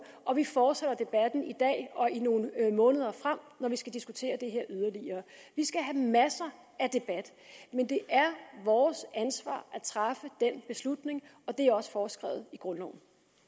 og vi fortsætter debatten i dag og i nogle måneder frem når vi skal diskutere det her yderligere vi skal have masser af debat men det er vores ansvar at træffe den beslutning og det er også foreskrevet i grundloven